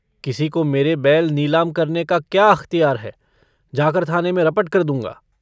किसी को मेरे बैल नीलाम करने का क्या अख़तियार है? जाकर थाने में रपट कर दूंगा।